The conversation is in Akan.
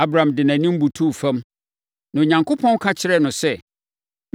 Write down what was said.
Abram de nʼanim butuu fam, na Onyankopɔn ka kyerɛɛ no sɛ,